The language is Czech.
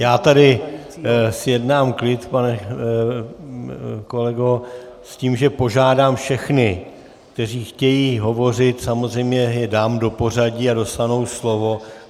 Já tady zjednám klid, pane kolego, s tím, že požádám všechny, kteří chtějí hovořit, samozřejmě je dám do pořadí a dostanou slovo.